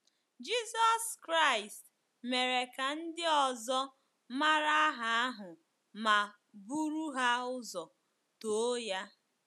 Jizọs Kraịst mere ka ndị ọzọ mara aha ahụ ma bụrụ ha ụzọ too ya.